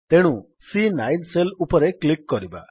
ତେଣୁ C nine cell ଉପରେ click କରିବା